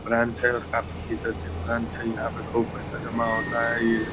Branch है और काफी ये चर्चित ब्रांच है। यहाँ पर खूब सारा पैसा जमा होता है। ये --